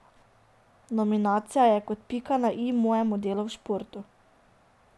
Nominacija je kot pika na i mojemu delu v športu.